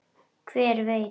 Hver veit?